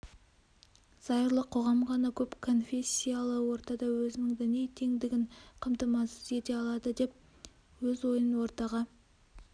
зайырлы қоғам ғана көпконфессиялы ортада өзінің діни теңдігін қамтамасыз ете алады деп өз ойын ортаға